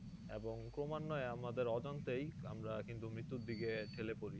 এবং ক্রমান্বয়ে আমাদের অজান্তেই আমরা কিন্তু মৃত্যুর দিকে ঠেলে পড়ি